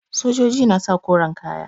Sojoji na saka koren kaya